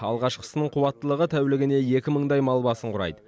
алғашқысының қуаттылығы тәулігіне екі мыңдай мал басын құрайды